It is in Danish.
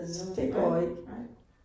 Eller sådan noget. Nej, nej